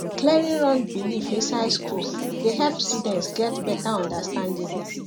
clearing wrong beliefs inside school dey help students get better understanding